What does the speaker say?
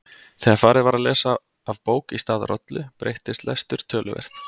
Þegar farið var að lesa af bók í stað rollu breyttist lestur töluvert.